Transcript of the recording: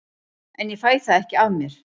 En ég fæ það ekki af mér.